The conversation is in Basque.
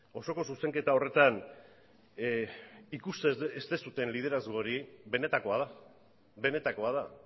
osoko zuzenketa horretan ikusten ez duzuen liderazgo hori benetakoa da benetakoa da